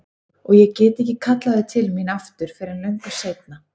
Og ég get ekki kallað þau til mín aftur fyrr en löngu seinna.